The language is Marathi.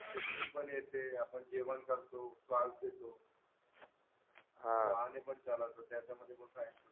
कूकिंग पण येते आपण जेवण करतो